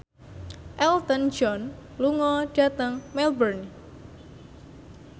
Elton John lunga dhateng Melbourne